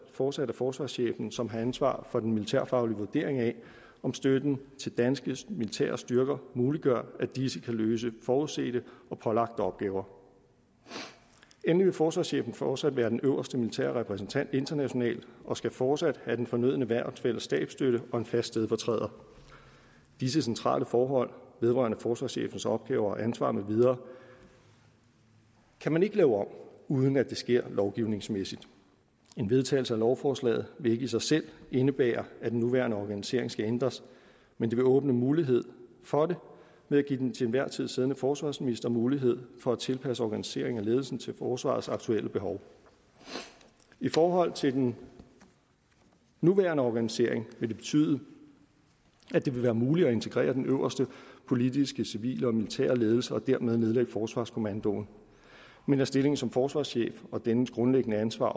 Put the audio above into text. fortsat er forsvarschefen som har ansvar for den militærfaglige vurdering af om støtten til danske militære styrker muliggør at disse kan løse forudsete og pålagte opgaver endelig vil forsvarschefen fortsat være den øverste militære repræsentant internationalt og skal fortsat have den fornødne værnsfælles stabsstøtte og en fast stedfortræder disse centrale forhold vedrørende forsvarschefens opgaver ansvar med videre kan man ikke lave om uden at det sker lovgivningsmæssigt en vedtagelse af lovforslaget vil ikke i sig selv indebære at den nuværende organisering skal ændres men det vil åbne mulighed for det ved at give den til enhver tid siddende forsvarsminister mulighed for at tilpasse organiseringen af ledelsen til forsvarets aktuelle behov i forhold til den nuværende organisering vil det betyde at det vil være muligt at integrere den øverste politiske civile og militære ledelse og dermed nedlægge forsvarskommandoen men at stillingen som forsvarschef og dennes grundlæggende ansvar